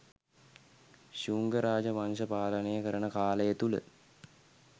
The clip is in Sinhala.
ශුංග රාජ වංශය පාලනය කරන කාලය තුළ